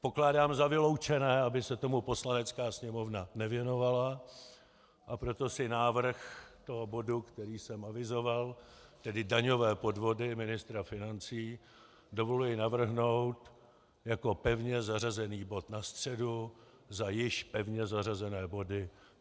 Pokládám za vyloučené, aby se tomu Poslanecká sněmovna nevěnovala, a proto si návrh toho bodu, který jsem avizoval, tedy daňové podvody ministra financí, dovoluji navrhnout jako pevně zařazený bod na středu za již pevně zařazené body.